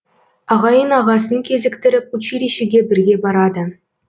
ағайын ағасын кезіктіріп училищеге бірге барады